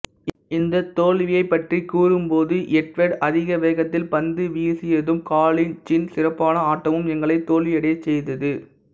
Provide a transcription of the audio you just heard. இந்தத் தோல்வியைப்பற்றிக் கூறும் போது எட்வர்டு அதிகவேகத்தில் பந்துவீசியதும்காலின்சின் சிறப்பான ஆட்டமும் எங்களை தோல்வியடையச் செய்தது